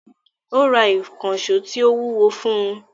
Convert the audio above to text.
Ó Ra ìkànṣó tí ó wúwo fún un